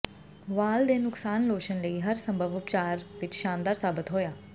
ਵਾਲ ਦੇ ਨੁਕਸਾਨ ਲੋਸ਼ਨ ਲਈ ਹਰ ਸੰਭਵ ਉਪਚਾਰ ਵਿੱਚ ਸ਼ਾਨਦਾਰ ਸਾਬਤ ਹੋਇਆ